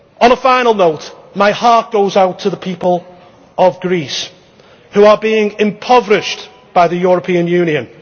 up. On a final note, my heart goes out to the people of Greece, who are being impoverished by the European Union.